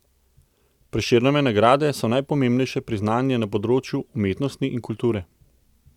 Prešernove nagrade so najpomembnejše priznanje na področju umetnosti in kulture.